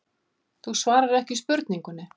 Þú svarar ekki spurningunni.